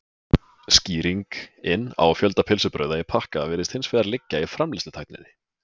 Skýringin á fjölda pylsubrauða í pakka virðist hins vegar liggja í framleiðslutækninni.